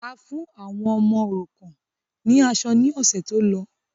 A fún àwọn ọmọ òrukàn ni aṣọ ni ọ̀sẹ̀ tó lọ.